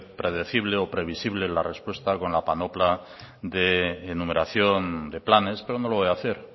predecible o previsible la respuesta con la panopla de enumeración de planes pero no lo voy a hacer